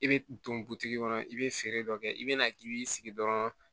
I bɛ don butigi kɔnɔ i bɛ feere dɔ kɛ i bɛna k'i b'i sigi dɔrɔn